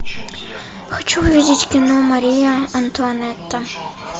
хочу увидеть кино мария антуанетта